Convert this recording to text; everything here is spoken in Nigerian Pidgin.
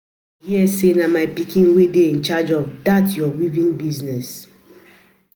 I hear say na my pikin wey dey in charge of dat your weaving business